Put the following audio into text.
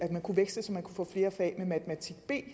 man kunne veksle og få flere fag med matematik b